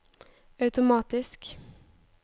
automatisk